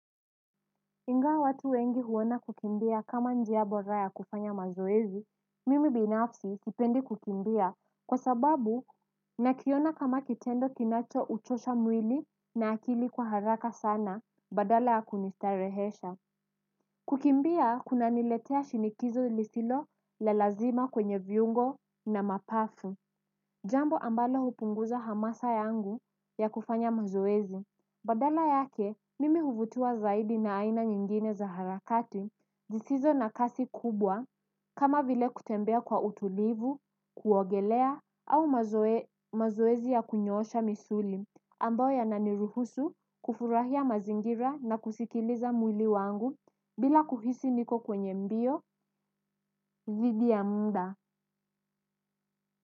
Ingawa watu wengi huona kukimbia kama njia bora ya kufanya mazoezi, mimi binafsi sipendi kukimbia kwa sababu nakiona kama kitendo kinachouchosha mwili na akili kwa haraka sana badala ya kunistarehesha. Kukimbia kunaniletea shinikizo lisilo la lazima kwenye viungo na mapafu. Jambo ambalo hupunguza hamasa yangu ya kufanya mazoezi. Badala yake, mimi huvutiwa zaidi na aina nyingine za harakati. Zisizo na kasi kubwa kama vile kutembea kwa utulivu, kuogelea au mazoezi ya kunyoosha misuli. Ambayo yananiruhusu kufurahia mazingira na kusikiliza mwili wangu bila kuhisi niko kwenye mbio. Dhidi ya muda.